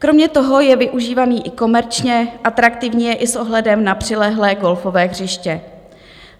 Kromě toho je využívaný i komerčně, atraktivní je i s ohledem na přilehlé golfové hřiště.